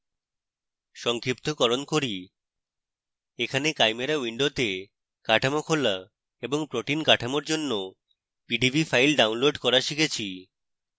সংক্ষিপ্তকরণ করি এখানে chimera window কাঠামো খোলা এবং protein কাঠামোর জন্য পিডিবি file download করা শিখেছি